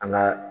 An ka